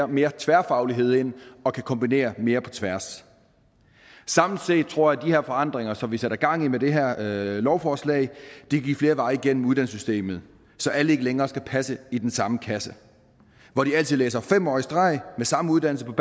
mere tværfaglighed ind og kan kombinere mere på tværs samlet set tror jeg at de her forandringer som vi sætter gang i med det her lovforslag giver flere veje igennem uddannelsessystemet så alle ikke længere skal passe i den samme kasse hvor de altid læser fem år i streg med samme uddannelse på